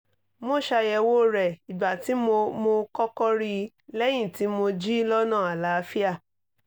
mo ṣàyẹ̀wò rẹ̀ ìgbà tí mo mo kọ́kọ́ rí i lẹ́yìn tí mo jí lọ́nà àlááfíà